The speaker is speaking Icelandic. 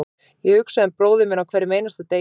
Ég hugsa um bróðir minn á hverjum einasta degi.